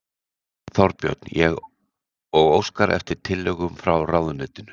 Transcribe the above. Þorbjörn: Og óskar eftir tillögum frá ráðuneytinu?